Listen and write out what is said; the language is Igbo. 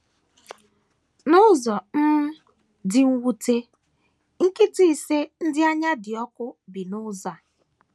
N’ụzọ um dị mwute, nkịta ise ndị anya dị ọkụ bi n’ụzọ a.